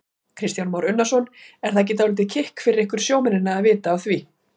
Kristján Már Unnarsson: Er það ekki dálítið kikk fyrir ykkur sjómennina að vita af því?